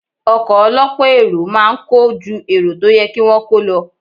Ọkọ̀ ọ lọ́pọ̀ èrò máa ń kọ́ ju èrò tó yẹ kí wón kò lo.